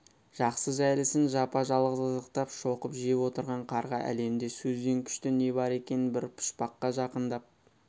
жақсы-жәйлісін жапа-жалғыз қызықтап шоқып жеп отырған қарға әлемде сөзден күшті не бар екен бір пұшпаққа жақындап